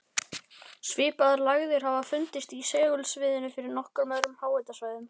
Svipaðar lægðir hafa fundist í segulsviðinu yfir nokkrum öðrum háhitasvæðum.